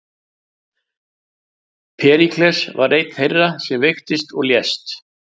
Períkles var einn þeirra sem veiktist og lést.